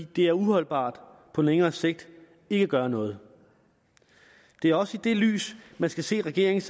det er uholdbart på længere sigt ikke at gøre noget det er også i det lys man skal se regeringens